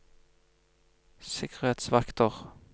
sikkerhetsvakter